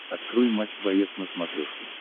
открой матч боец на смотрешке